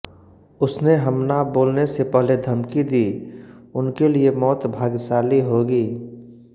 उसने हमला बोलने से पहले धमकी दी उनके लिए मौत भाग्यशाली होगी